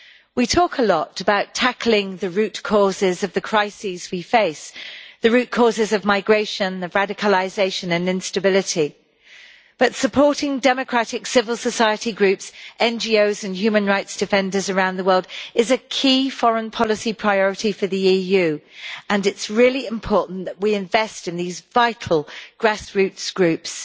We talk a lot about tackling the root causes of the crises we face the root causes of migration, radicalisation and instability but supporting democratic civil society groups, NGOs and human rights defenders around the world is a key foreign policy priority for the EU, and it is really important that we invest in these vital grassroots groups.